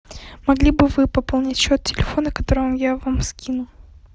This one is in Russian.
могли бы вы пополнить счет телефона который я вам скину